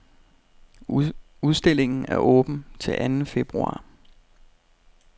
Udstillingen er åben til anden februar.